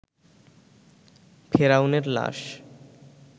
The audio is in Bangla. ফেরাউন এর লাশ